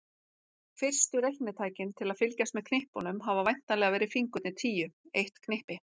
Fyrstu reiknitækin til að fylgjast með knippunum hafa væntanlega verið fingurnir tíu, eitt knippi.